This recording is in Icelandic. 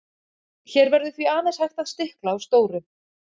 Hér verður því aðeins hægt að stikla á stóru.